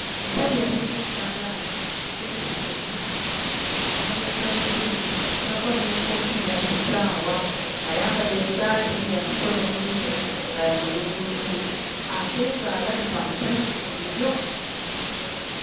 Omusajja atunga ekyalaani akuliridde mmyaka ayambala ggaalubindi ateekako n'enkofiira n'essaawa ayambadde essaati ya mikono mimpi nga ya bbuluulululu ate ng'alabika musanyufu nnyo.